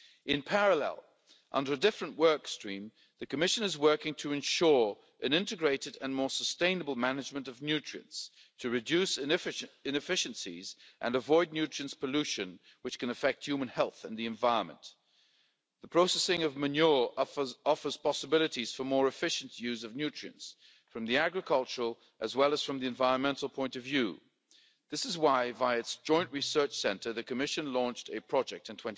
In parallel, under a different work stream, the Commission is working to ensure an integrated and more sustainable management of nutrients to reduce inefficiencies and avoid nutrients pollution, which can affect human health and the environment. The processing of manure offers possibilities for more efficient use of nutrients, from the agricultural as well as from the environmental point of view. This is why, via its Joint Research Centre, the Commission launched a project